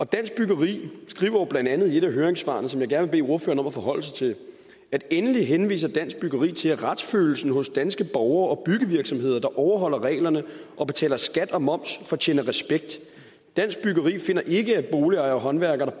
dansk byggeri skriver jo blandt andet i et af høringssvarene som jeg gerne bede ordføreren om at forholde sig til endelig henviser dansk byggeri til at retsfølelsen hos danske borgere og byggevirksomheder der overholder reglerne og betaler skat og moms fortjener respekt dansk byggeri finder ikke at boligejere og håndværkere